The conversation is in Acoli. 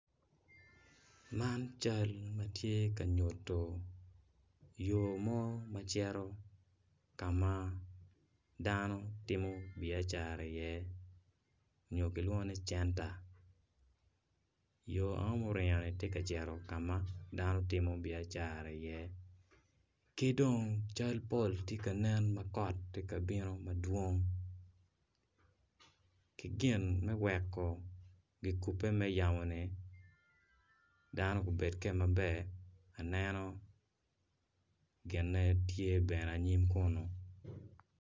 Man cal ma tye ka nyuto yo mo ma cito kama dano timo iye cat iye nyo kilwongo ni centa yo man tye ka cito ka ma dano timo iye biacara ki dong pol tye ka nen ma kot tye ka bino madwong.